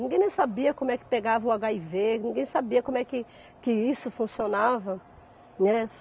Ninguém nem sabia como é que pegava o agáivê, ninguém sabia como é que que isso funcionava, né?